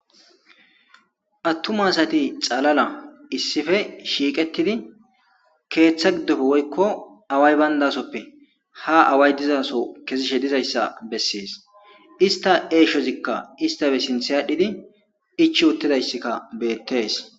Attuma assati xaalala issippe shiiqettidi keththa giddoppe woykko away bayndassope ha away diiza soho kezzishshe diizayssa besses issitta eshshozikka isstappe sinththe adhdhidi ichchi uttidayssi bettes.